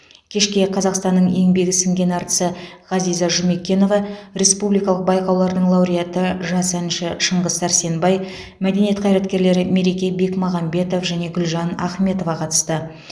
кешке қазақстанның еңбегі сіңген әртісі ғазиза жұмекенова республикалық байқаулардың лауреаты жас әнші шыңғыс сәрсенбай мәдениет қайраткерлері мереке бекмағамбетов және гүлжан ахметова қатысты